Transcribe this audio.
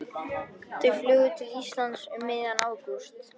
Þau flugu til Íslands um miðjan ágúst.